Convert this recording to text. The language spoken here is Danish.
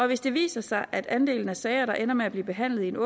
hvis det viser sig at andelen af sager der ender med at blive behandlet